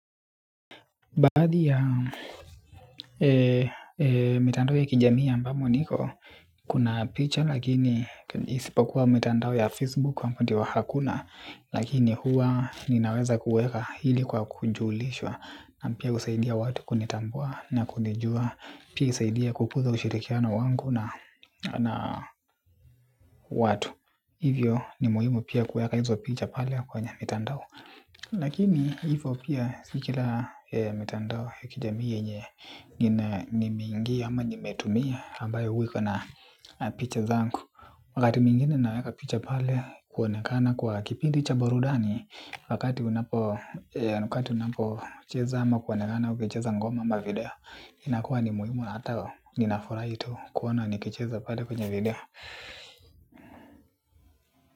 Baadhi ya mitandao ya kijamii ambamo niko, kuna picha lakini isipokuwa mitandao ya Facebook hapo ndiyo hakuna. Lakini huwa ninaweza kuweka ili kwa kujulishwa na pia kusaidia watu kunitambua na kunijua. Pia isaidie kukuza ushirikiano wangu na watu. Hivyo ni muhimu pia kuweka hizo picha pale kwenye mitandao. Lakini hivyo pia si kila mitandao ya kijamii yenye ni mingi ama nimetumia ambayo huwa ikona picha zangu. Wakati mwingine naweka picha pale kuonekana kwa kipindi cha burudani. Wakati unapocheza ama kuonekana ukicheza ngoma ama video inakuwa ni muhimu na hata ninafurahi tu kuona nikicheza pale kwenye video.